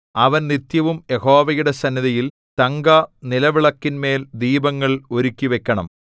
അവൻ നിത്യവും യഹോവയുടെ സന്നിധിയിൽ തങ്കനിലവിളക്കിന്മേൽ ദീപങ്ങൾ ഒരുക്കിവയ്ക്കണം